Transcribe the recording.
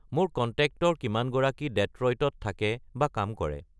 মোৰ কণ্টেক্টৰ কিমানগৰাকী ডেট্ৰ'ইটত থাকে বা কাম কৰে